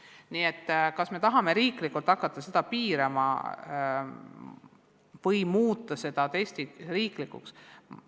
Nii et kas me tahame riiklikult hakata seda kõik piirama või muuta testid riiklikuks?